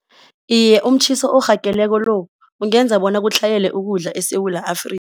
Iye umtjhiso orhageleko lo, ungenza bona kutlhayele ukudla eSewula